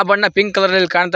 ಬಣ್ಣ pink colour ನಲ್ಲಿ ಕಾಣತಾ--